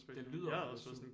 Det lyder også